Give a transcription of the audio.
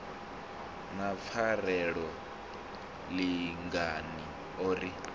na pfarelo lingani o ri